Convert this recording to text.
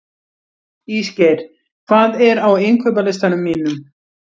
Ísgeir, hvað er á innkaupalistanum mínum?